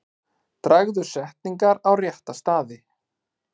Dragðu setningar á rétta staði.